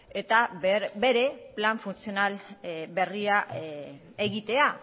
eta bere plan funtzional berria egitea